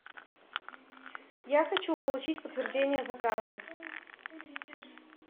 я хочу получить подтверждение заказа